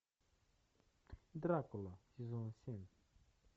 дракула сезон семь